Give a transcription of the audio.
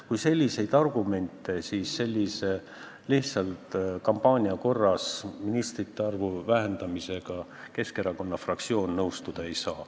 Kuid selliste argumentide peale sellise lihtsalt kampaania korras ministrite arvu vähendamisega Keskerakonna fraktsioon nõustuda ei saa.